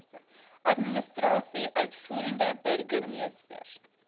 administrasie uitvoerende burgermeester